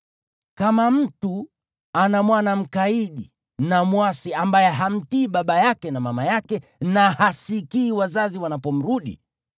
Kama mtu ana mwana mkaidi na mwasi ambaye hamtii baba yake na mama yake, na hasikii wazazi wanapomrudi,